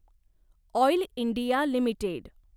oil India limited